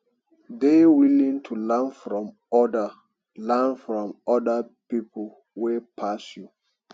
dey willing to learn from oda learn from oda pipo wey pass you